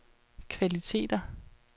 kvaliteter